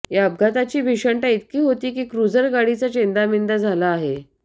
या अपघाताची भीषणता इतकी होती की क्रूझर गाडीचा चेंदामेंदा झाला आहे